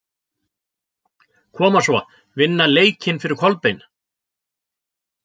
Koma svo, vinna leikinn fyrir Kolbein!